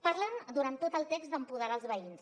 parlen durant tot el text d’empoderar els veïns